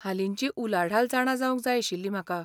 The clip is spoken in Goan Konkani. हालिंची उलाढाल जाणा जावंक जाय आशिल्ली म्हाका.